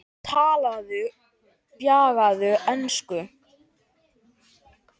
Talaði bjagaða ensku